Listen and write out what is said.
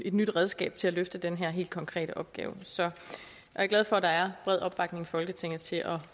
nyt redskab til at løfte den her helt konkrete opgave så jeg er glad for at der er bred opbakning i folketinget til at